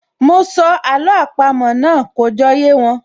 Mọ sọ àló àpamọ́ náà, kò jọ yé wọn